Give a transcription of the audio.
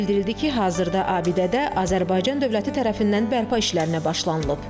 Bildirildi ki, hazırda abidədə Azərbaycan dövləti tərəfindən bərpa işlərinə başlanılıb.